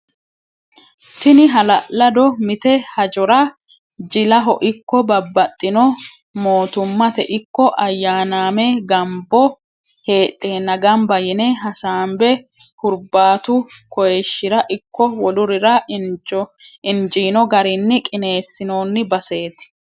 Tini hala'lado mite hajjora jillaho ikko babaxitino mootumatte ikko ayaanaamebgambo heedhenna gamba yine hasaambe huribaatu koyishira ikko wolurirra injino garini qineesinonni baseeti